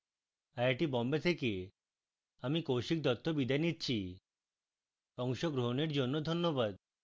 I I T Bombay থেকে আমি কৌশিক দত্ত বিদায় নিচ্ছি অংশগ্রহনের জন্য ধন্যবাদ